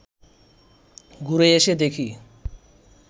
ঘুরে এসে দেখি